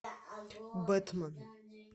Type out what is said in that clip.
бэтмен